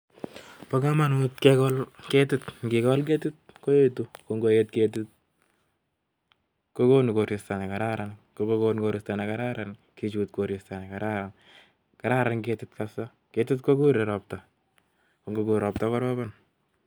bo komanut ngegol ketit ngegol ketit koetu, ngoet ketit gogonu koristo ne gararan ,gechut koristo ne kararan .kararan ketit kabsa ,ketit kokure ropta ,gongogur ropta gorobon